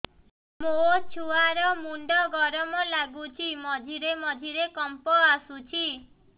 ମୋ ଛୁଆ ର ମୁଣ୍ଡ ଗରମ ଲାଗୁଚି ମଝିରେ ମଝିରେ କମ୍ପ ଆସୁଛି